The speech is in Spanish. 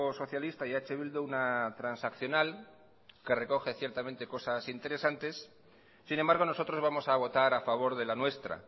socialista y eh bildu una transaccional que recoge ciertamente cosas interesantes sin embargo nosotros vamos a votar a favor de la nuestra